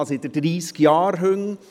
Ich habe seit dreissig Jahren Hunde;